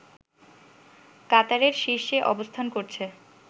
কাতারের শীর্ষে অবস্থান করছে